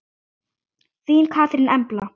Þín Katrín Embla.